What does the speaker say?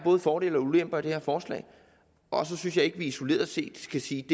fordele og ulemper i det her forslag og så synes jeg ikke at vi isoleret set skal sige at